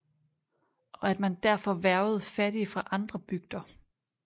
Og at man derfor hvervede fattige fra andre bygder